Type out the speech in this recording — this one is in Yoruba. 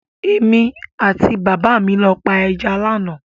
Èmi àti bàbá mi lọ pa ẹja lánàá.